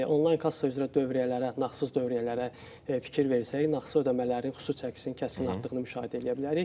Bəli, onlayn kassa üzrə dövriyyələrə, nağdsız dövriyyələrə fikir versək, nağdsız ödəmələrin xüsusi çəkisinin kəskin artdığını müşahidə eləyə bilərik.